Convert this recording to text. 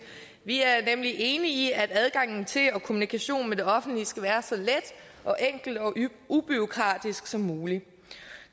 vi er nemlig enige i at adgangen til og kommunikationen med det offentlige skal være så let og enkel og ubureaukratisk som muligt